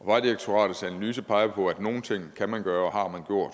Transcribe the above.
vejdirektoratets analyse peger på at nogle ting kan man gøre og